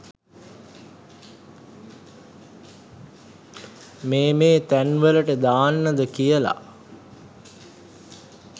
මේ මේ තැන් වලට දාන්නද කියලා.